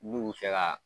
N'u bi fɛ ka